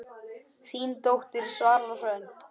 Þín dóttir, Svala Hrönn.